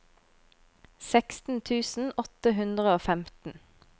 seksten tusen åtte hundre og femten